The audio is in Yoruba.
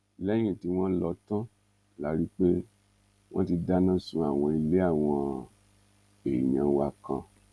lẹyìn tí wọn lọ tán la rí i pé wọn ti dáná sun àwọn ilé àwọn èèyàn wa kan